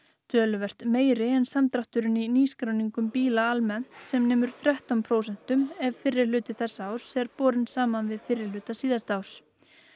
töluvert meiri en samdrátturinn í nýskráningum bíla almennt sem nemur þrettán prósent ef fyrri hluti þessa árs er borinn saman við fyrri hluta síðasta árs